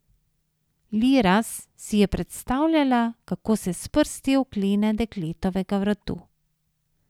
Liraz si je predstavljala, kako se s prsti oklene dekletovega vratu.